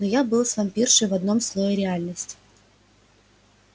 но я был с вампиршей в одном слое реальности